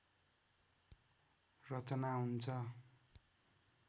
रचना हुन्छ